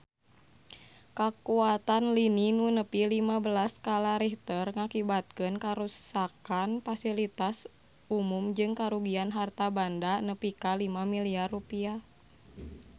Kakuatan lini nu nepi lima belas skala Richter ngakibatkeun karuksakan pasilitas umum jeung karugian harta banda nepi ka 5 miliar rupiah